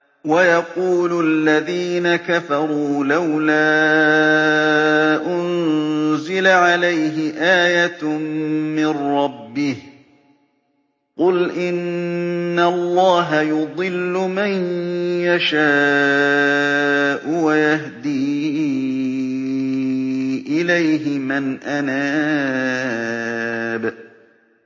وَيَقُولُ الَّذِينَ كَفَرُوا لَوْلَا أُنزِلَ عَلَيْهِ آيَةٌ مِّن رَّبِّهِ ۗ قُلْ إِنَّ اللَّهَ يُضِلُّ مَن يَشَاءُ وَيَهْدِي إِلَيْهِ مَنْ أَنَابَ